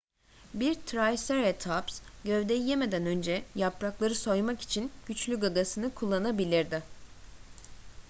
bir triceratops gövdeyi yemeden önce yaprakları soymak için güçlü gagasını kullanabilirdi